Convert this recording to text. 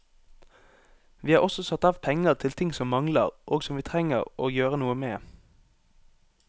Vi har også satt av penger til ting som mangler, og som vi trenger å gjøre noe med.